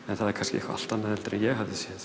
en það er kannski eitthvað allt annað en ég hafði séð